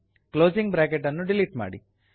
closing bracket ಅನ್ನು delete ಮಾಡಿ